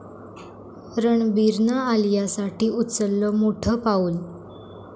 रणबीरनं आलियासाठी उचललं मोठं पाऊल